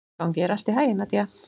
Gangi þér allt í haginn, Nadia.